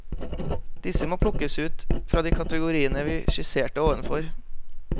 Disse må plukkes ut fra de kategoriene vi skisserte ovenfor.